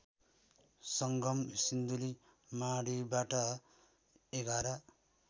सङ्गम सिन्धुलीमाढीबाट ११